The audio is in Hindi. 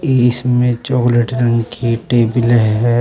इ इसमें चॉकलेट रंग की टेबिल है।